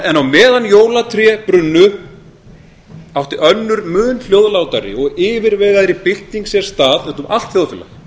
en á meðan jólatré brunnu átti önnur mun hljóðlátari og yfirvegaðri bylting sér stað úti um allt þjóðfélag